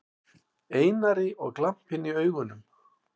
Einari og glampinn í augunum.